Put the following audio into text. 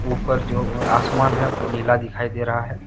उपर जो ओ आसमान है नीला दिखाई दे रहा है।